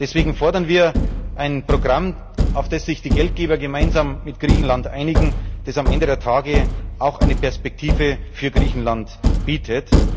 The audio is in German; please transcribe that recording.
Deswegen fordern wir ein Programm, auf das sich die Geldgeber gemeinsam mit Griechenland einigen, das am Ende der Tage auch eine Perspektive für Griechenland bietet.